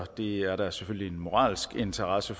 det er der selvfølgelig en moralsk interesse